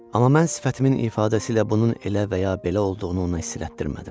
Amma mən sifətimin ifadəsiylə bunun elə və ya belə olduğunu ona hiss elətdirmədim.